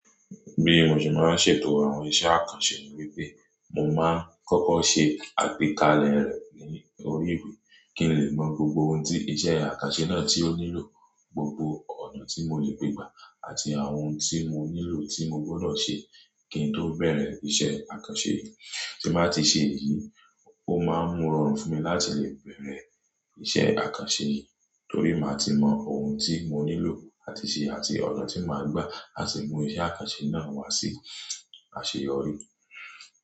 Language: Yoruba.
Bí mo ṣe máa ń ṣètò àwọn iṣẹ́ àkànṣe ni wípé, mo máa ń kọ́kọ́ ṣe àgbékalẹ̀ rẹ̀ ní orí ìwé kí n lè mọ gbogbo ohun tí iṣẹ́ àkànṣe náà tí ó nílò, gbogbo ọ̀nà tí mo lè gbe gbà àti àwọn ohun tí mo nílò tí mo gbọ́dọ̀ ṣe kí n tó bẹ̀rẹ̀ iṣẹ́ àkànṣe yìí. Tí mo bá ti ṣe èyí, ó máa ń mú ọrọ̀ fún mi láti lè bẹ̀rẹ̀ iṣẹ́ àkànṣe yìí, torí máa ti mọ ohun tí mo nílò láti ṣe àti ọ̀nà tí màá gbà a sì mú iṣẹ́ àkànṣe náà wá sí àṣeyọrí.